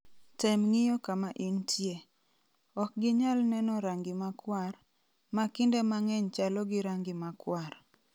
Tem ng'iyo kama intie. Ok ginyal neno rangi makwar, ma kinde mang'eny chalo gi rangi makwar.